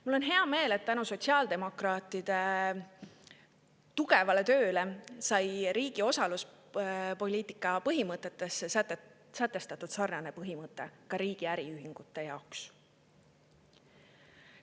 Mul on hea meel, et tänu sotsiaaldemokraatide tööle sai riigi osaluspoliitika põhimõtetesse sarnane põhimõte ka riigi äriühingute jaoks.